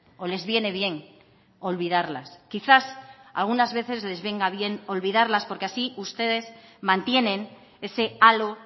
o les viene bien olvidarlas quizás algunas veces les venga bien olvidarlas porque así ustedes mantienen ese halo